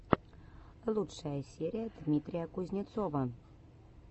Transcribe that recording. лучшая серия дмитрия кузнецова